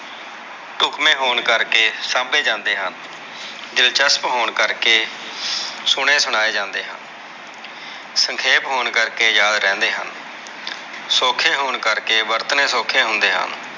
ਧੁਪਮੇ ਹੋਣ ਕਰਕੇ ਸਾਂਭੇ ਜਾਂਦੇ ਹਨ, ਦਿਲਚਸਪ ਹੋਣ ਕਰਕੇ ਸੁਣੇ ਸੁਣਾਏ ਜਾਂਦੇ ਹਨ, ਸੰਖੇਪ ਹੋਣ ਕਰਕੇ ਯਾਦ ਰਹਿੰਦੇ ਹਨ ਸੋਖੇ ਹੋਣ ਕਰਕੇ ਵਰਤਣੇ ਸੋਖੇ ਹੁੰਦੇ ਹਨ।